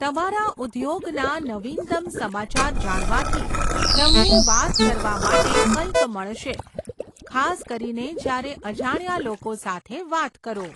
તમારા ઉદ્યોગના નવીનતમ સમાચાર જાણવાથી તમને વાત કરવા માટે કંઈક મળશે, ખાસ કરીને જ્યારે અજાણ્યા લોકો સાથે વાત કરો.